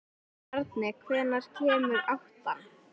Bjarmi, hvenær kemur áttan?